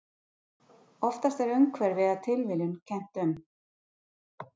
Oftast er umhverfi eða tilviljun kennt um.